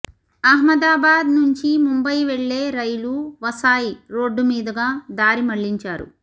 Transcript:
అహ్మదాబాద్ నుంచి ముంబయి వెళ్ళే రైలు వసాయ్ రోడ్డు మీదుగా దారిమళ్లించారు